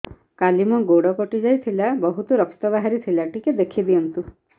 କାଲି ମୋ ଗୋଡ଼ କଟି ଯାଇଥିଲା ବହୁତ ରକ୍ତ ବାହାରି ଥିଲା ଟିକେ ଦେଖି ଦିଅନ୍ତୁ